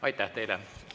Aitäh teile!